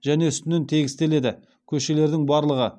және үстінен тегістеледі көшелердің барлығы